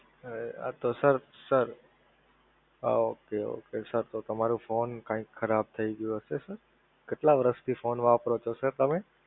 આતો sir sir okay okay sir તો તમારો phone કઈક ખરાબ થઈ ગયો હશે sir કેટલા વર્ષથી Phone વાપરો છો sir તમે?